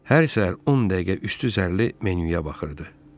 Hər səhər 10 dəqiqə üstü zərli menyuya baxırdı.